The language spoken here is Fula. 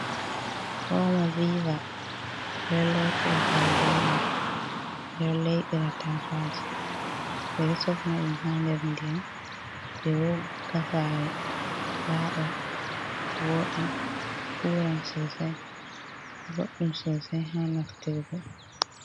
Omo viva, ɓe ɗo lotira kare be mai. Ɓe ɗo laiɓira tasaaje, ɓe ɗo sofna ɗum ha nder ndiyam ɓe wogga saare laaɓa wooɗa. Uuran sosai, boɗɗum sosai ha naftirgo.